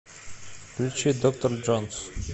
включи доктор джонс